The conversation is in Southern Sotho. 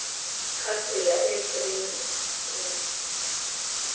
ka tsela e ke keng